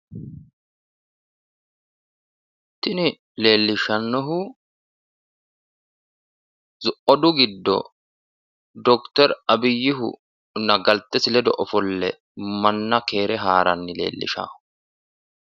Tini leelishanohu odu giddo dokiter abiyihunna galtesi ledo ofolle manna keere haaranni leellishawo.